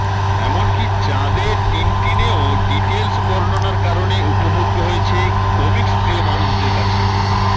এমনকি চাঁদে টিনটিনেও ডিটেলস বর্ণনার কারণে উপভোগ্য হয়েছে কমিকস প্রিয় মানুষদের কাছে